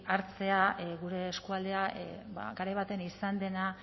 hartzea gure eskualdea garai batean izan dena